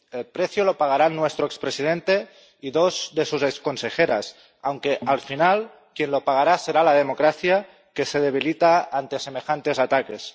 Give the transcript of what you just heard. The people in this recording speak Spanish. El precio lo pagarán nuestro expresidente y dos de sus exconsejeras, aunque, al final, quien lo pagará será la democracia, que se debilita ante semejantes ataques.